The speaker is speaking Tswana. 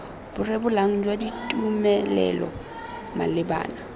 bo rebolang jwa ditumelelo malebana